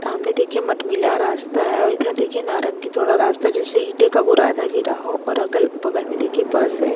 सामने देखिये मठ्मिला रास्ता है और इधर देखिये नारंगी थोडा रास्ता जैसे इटे का बुरादा गिरा हो और अगल बगल में देखिये बस है।